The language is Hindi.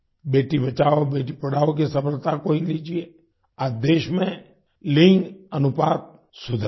बेटी बचाओ बेटी पढ़ाओ की सफलता को ही लीजिए आज देश में लिंग अनुपात सुधरा है